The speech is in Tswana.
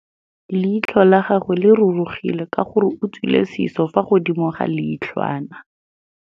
Leitlhô la gagwe le rurugile ka gore o tswile sisô fa godimo ga leitlhwana.